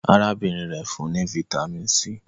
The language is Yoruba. arábìnrin rẹ fún ní Vitamin c.